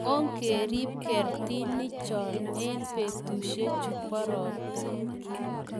ongerib kertinik cho eng' betusiechu bo robta